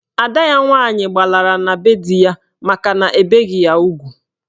Ada ya nwaanyị gbalara na be di ya makana ebeghi ya ugwu.